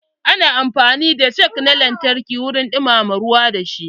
Ana amfani da jug na lantarki wurin dumama ruwa da shi.